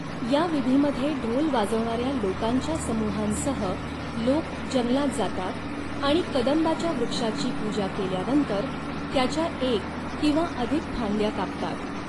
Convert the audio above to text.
या विधीमध्ये ढोल वाजवणाऱ्या लोकांच्या समूहांसह लोक जंगलात जातात आणि कदंबाच्या वृक्षाची पूजा केल्यानंतर त्याच्या एक किंवा अधिक फांद्या कापतात.